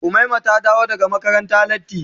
Umaima ta dawo daga makaranta latti.